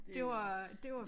Det var det var